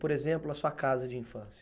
Por exemplo, a sua casa de infância.